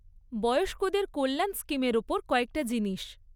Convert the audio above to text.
বয়স্কদের কল্যাণ স্কিমের ওপর কয়েকটা জিনিস।